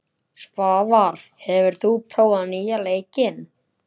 Svavar, hefur þú prófað nýja leikinn?